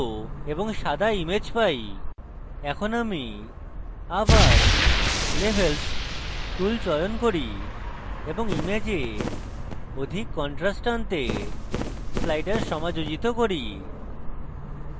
এখন আমি আবার levels tool চয়ন করি এবং image অধিক contrast আনতে slider সমাযোজিত করি